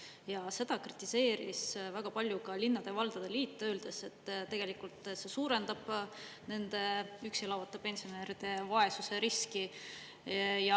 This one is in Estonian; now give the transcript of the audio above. Ja seda kritiseeris väga palju ka linnade ja valdade liit, öeldes, et tegelikult suurendab nende üksi elavate pensionäride vaesusriski.